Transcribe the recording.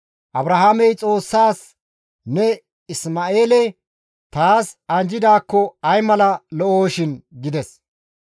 Abrahaamey Xoossaas, «Ne Isma7eele taas anjjidaakko ay mala lo7oshin!» gides.